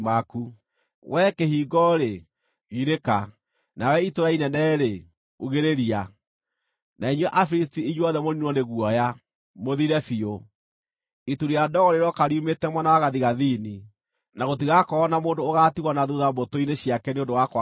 Wee kĩhingo-rĩ, girĩka! Na wee itũũra inene-rĩ, ugĩrĩria! Na inyuĩ Afilisti inyuothe mũniinwo nĩ guoya, mũthire biũ! Itu rĩa ndogo rĩrooka riumĩte mwena wa gathigathini, na gũtigakorwo na mũndũ ũgaatigwo na thuutha mbũtũ-inĩ ciake nĩ ũndũ wa kwaga hinya.